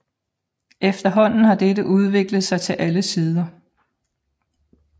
Efterhånden har dette udviklet sig til alle sider